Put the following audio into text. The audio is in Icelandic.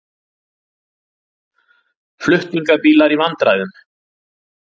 Flutningabílar í vandræðum